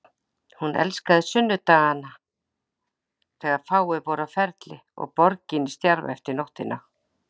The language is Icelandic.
Hún elskaði sunnudagana þegar fáir voru á ferli og borgin í stjarfa eftir nóttina.